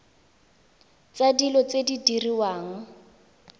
tsa dilo tse di diriwang